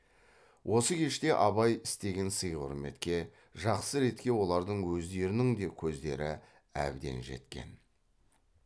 осы кеште абай істеген сый құрметке жақсы ретке олардың өздерінің де көздері әбден жеткен